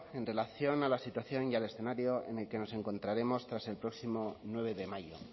en relación a la situación y al escenario en el que nos encontraremos tras el próximo nueve de mayo